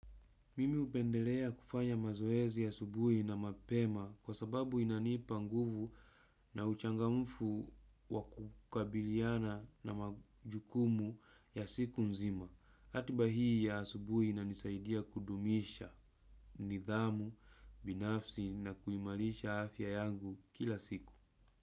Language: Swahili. Mimi upendelea kufanya mazoezi ya subuhi na mapema kwa sababu inanipa nguvu na uchanga mfu wakukabiliana na majukumu ya siku nzima. Atiba hii ya subuhi na nisaidia kudumisha nidhamu, binafsi na kuimalisha afya yangu kila siku.